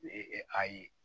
ayi